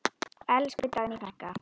Elsku Dagný frænka.